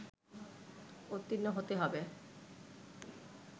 উত্তীর্ণ হতে হবে